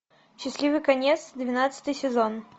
счастливый конец двенадцатый сезон